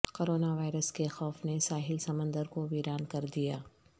corona virus کے خوف نے ساحل سمندر کو ویران کر دیا